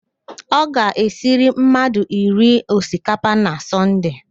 Ọ ga-esiri mmadụ iri osikapa na Sọnde